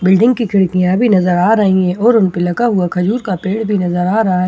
building भी खिड़कियां भी नज़र आ रही हैं और उनपे लगा हुआ खजूर का पेड़ भी नज़र आ रहा है ए--